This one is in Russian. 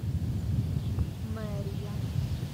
мэрия